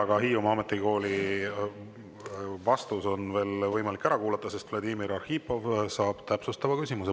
Aga Hiiumaa Ametikooli kohta on vastus veel võimalik ära kuulata, sest Vladimir Arhipov saab esitada täpsustava küsimuse.